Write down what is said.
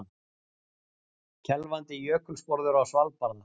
Kelfandi jökulsporður á Svalbarða.